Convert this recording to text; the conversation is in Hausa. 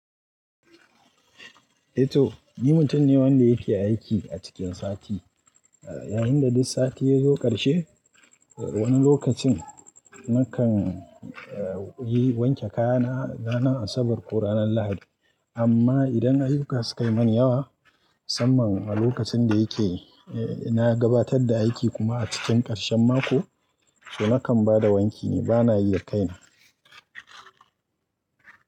Eh to ni mutum ne wanda yake aiki a cikin sati, yayin da duk sati yazo karshe wani lokacin nakan yi wanke kayana ranar Asabar ko ranar Lahadi. Amma idan ayyuka su kai manyan yawa saman a lokacin da yake na gabatar da aiki kuma a cikin ƙarshen mako, to nakan bada wanki ne bana yi da kaina.